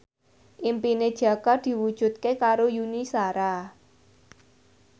impine Jaka diwujudke karo Yuni Shara